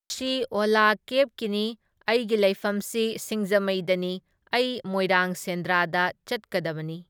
ꯃꯁꯤ ꯑꯣꯂꯥ ꯀꯦꯕꯀꯤꯅꯤ, ꯑꯩꯒꯤ ꯂꯩꯐꯝꯁꯤ ꯁꯤꯡꯖꯃꯩꯗꯅꯤ, ꯑꯩ ꯃꯣꯏꯔꯥꯡ ꯁꯦꯟꯗ꯭ꯔꯥꯗ ꯆꯠꯀꯗꯕꯅꯤ꯫